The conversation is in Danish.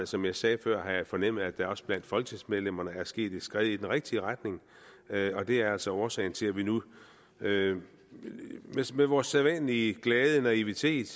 som jeg sagde før fornemmet at der også blandt folketingsmedlemmerne er sket et skred i den rigtige retning og det er altså årsagen til at vi nu med med vores sædvanlige glade naivitet